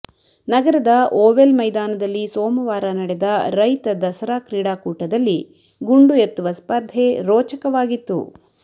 ನಗರದ ಓವೆಲ್ ಮೈದಾನದಲ್ಲಿ ಸೋಮವಾರ ನಡೆದ ರೈತ ದಸರಾ ಕ್ರೀಡಾಕೂಟದಲ್ಲಿ ಗುಂಡು ಎತ್ತುವ ಸ್ಪರ್ಧೆ ರೋಚಕವಾಗಿತ್ತು